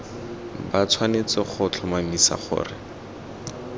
ba tshwanetse go tlhomamisa gore